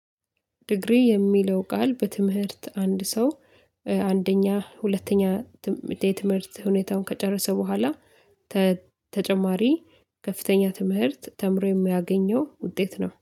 ዲግሪ የሚለው ቃል በትምህርት አንድ ሰው አንደኛ ሁለተኛ የትምህርት ሁኔታውን ከጨረሰ በኋላ ተጨማሪ ከፍተኛ ትምህርት ተምሮ የሚያገኘው ውጤት ነው።